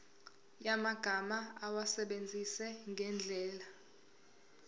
yamagama awasebenzise ngendlela